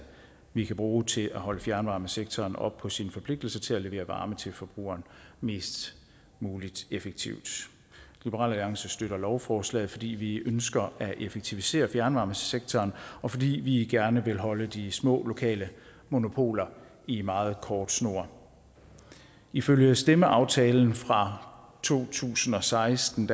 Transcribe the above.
vi kan bruge til at holde fjernvarmesektoren op på sin forpligtelse til at levere varme til forbrugeren mest muligt effektivt liberal alliance støtter lovforslaget fordi vi ønsker at effektivisere fjernvarmesektoren og fordi vi gerne vil holde de små lokale monopoler i en meget kort snor ifølge stemmeaftalen fra to tusind og seksten